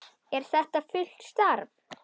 Er þetta fullt starf?